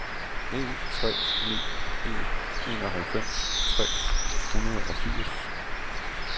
en tre ni en enoghalvfems tre hundrede og firs